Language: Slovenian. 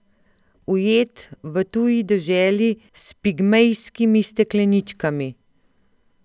Ujet v tuji deželi s pigmejskimi stekleničkami.